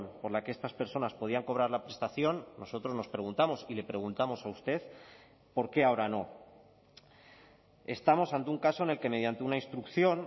por la que estas personas podían cobrar la prestación nosotros nos preguntamos y le preguntamos a usted por qué ahora no estamos ante un caso en el que mediante una instrucción